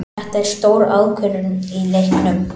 Þetta er stór ákvörðun í leiknum.